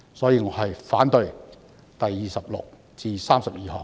因此，我反對修正案編號26至32。